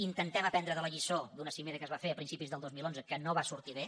intentem aprendre de la lliçó d’una cimera que es va fer a principis del dos mil onze que no va sortir bé